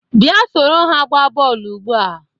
Bịa soro ha gbaa bọọlụ ugbu a